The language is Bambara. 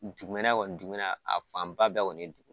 Dugumɛnɛ kɔni dugumɛnɛ a fanba bɛɛ kɔni ye dugu